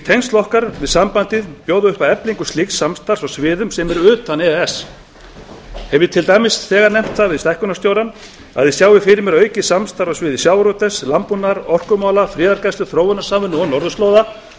tengsl okkar við sambandið bjóða upp á eflingu slíks samstarfs á sviðum sem eru utan e e s hef ég til dæmis þegar nefnt það við stækkunarstjórann að ég sjái fyrir mér aukið samstarf á sviði sjávarútvegs landbúnaðar orkumála friðargæslu þróunarsamvinnu og norðurslóða svo einstök